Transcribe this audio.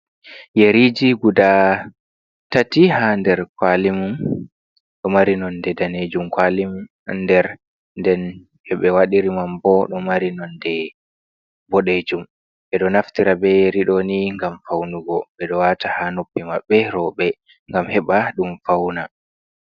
Yeriji guda tati ha nder kwalimum, ɗo mari nonde danejum kwali nder, den hebe wadiri mam bo ɗo mari nonde boɗejum, ɓe ɗo naftira be yeri ɗoni ngam faunugo, ɓe ɗo wata ha noppi maɓɓe roɓe, ngam heɓa ɗum fauna.